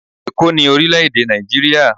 eko ni orile ede naijiria